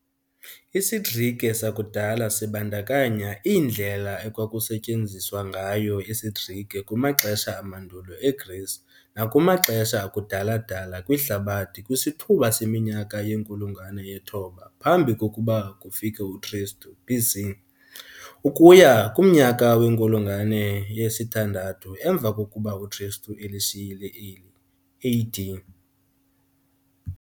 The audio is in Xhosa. IsiGrike sakudala sibandakanya iindlela ekwakusetyenziswa ngayo isiGrike kumaxesha amandulo eGreece nakumaxesha akudala-dala kwihlabathi kwisithuba seminyaka yenkulungwane ye-9 phambi kokuba kufike uKristu, BC, ukuya kumnyaka wenkulungwane yesi-6th emva kokuba uKristu elishiyile eli AD.